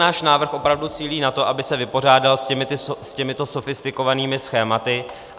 Náš návrh opravdu cílí na to, aby se vypořádal s těmito sofistikovanými schématy.